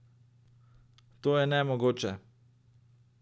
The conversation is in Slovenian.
To je nemogoče!